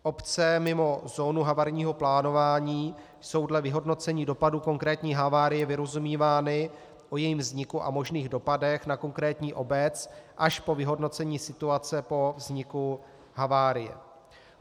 Obce mimo zónu havarijního plánování jsou dle vyhodnocení dopadu konkrétní havárie vyrozumívány o jejím vzniku a možných dopadech na konkrétní obec až po vyhodnocení situace po vzniku havárie.